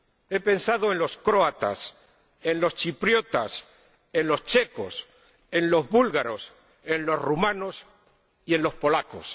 he pensado en los croatas, en los chipriotas, en los checos, en los búlgaros, en los rumanos y en los polacos.